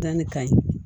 Danni ka ɲi